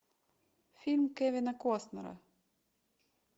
фильм кевина костнера